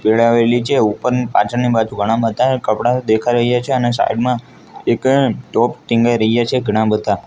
વિળાવેલી છે ઉપરની પાછળની બાજુ ઘણા બધા કપડા દેખાઈ રહીયા છે અને સાઈડ માં એક ટોપ ટિંગાઈ રહ્યા છે ઘણા બધા.